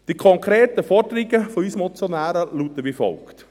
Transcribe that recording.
Die konkreten Forderungen von uns Motionären lauten wie folgt;